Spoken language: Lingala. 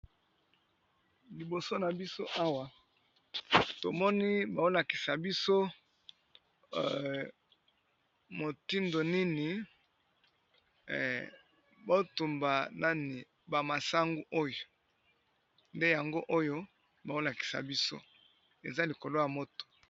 Libo na biso Awa tomoni bazolakisa biso mitindo nini ehh bazo tumba ba masangu Oyo eza likolo ya moto